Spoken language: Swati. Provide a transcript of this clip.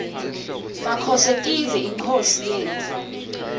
makhosetive yinkhosi yetfu